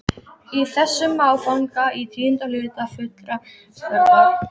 Í þessum áfanga í tíunda hluta fullrar stærðar.